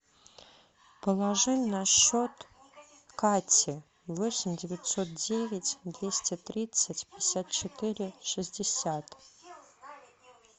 положи на счет кати восемь девятьсот девять двести тридцать пятьдесят четыре шестьдесят